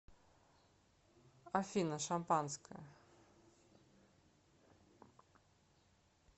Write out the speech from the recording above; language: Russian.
афина шампанское